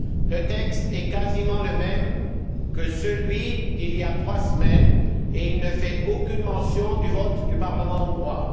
Le texte est quasiment le même que celui d'il y a trois semaines et ne fait aucune mention du vote du Parlement hongrois.